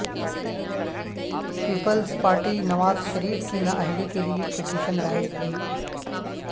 Peoples Party Nawaz Sharif کی نااہلی کے لیے پیٹیشن دائر کرے گی